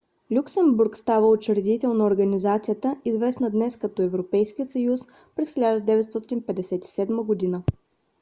люксембург става учредител на организацията известна днес като европейски съюз през 1957 г